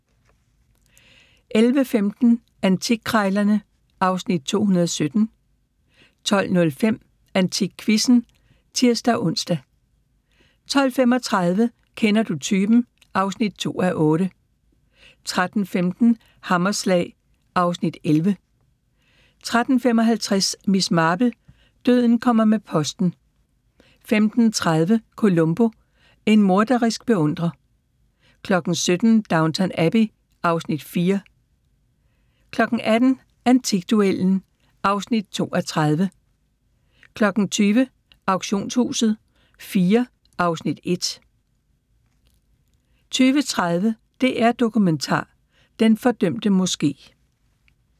11:15: Antikkrejlerne (Afs. 217) 12:05: AntikQuizzen (tir-ons) 12:35: Kender du typen? (2:8) 13:15: Hammerslag (Afs. 11) 13:55: Miss Marple: Døden kommer med posten 15:30: Columbo: En morderisk beundrer 17:00: Downton Abbey (Afs. 4) 18:00: Antikduellen (2:30) 20:00: Auktionshuset IV (Afs. 1) 20:30: DR Dokumentar: Den fordømte Moske